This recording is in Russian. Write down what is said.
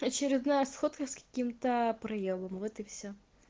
очередная сходка с каким-то проёбом вот и всё